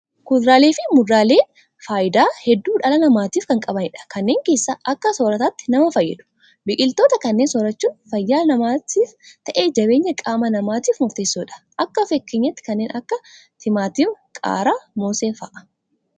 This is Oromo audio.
Kuduraalee fi muduraaleen fayidaa hedduu dhala namatiif kan qabanidha. Kanneen keessaa akka soorataatti nama fayyadu. Biqiltoota kanneen soorrachuun fayyaa namaafis ta'ee jabeenya qaama namatiif murteessoodha. Akka fakkeenyaatti kanneen akka timaatima, qaaraa, moosee fa'aa.